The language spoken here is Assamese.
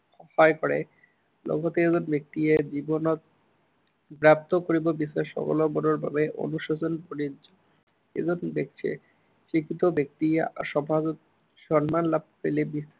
সহায় কৰে। লগতে এজন ব্য়ক্তিয়ে জীৱনত প্ৰাপ্ত কৰিব বিচৰা সফলতাৰ বাবে অনুশাসন কৰি, এজন ব্য়ক্তিয়ে, যি কোনো ব্য়ক্তিয়ে সফল, সন্মান লাভ কৰিলে